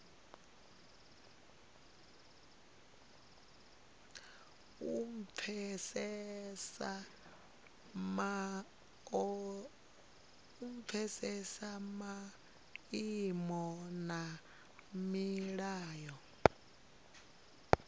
u pfesesa maimo na milayo